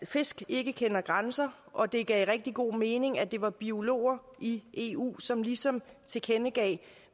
fisk ikke kender grænser og det gav rigtig god mening at det var biologer i eu som ligesom tilkendegav